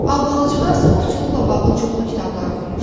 Albalıcığaz ovçuluqla bağlı çoxlu kitablar oxumuşdu.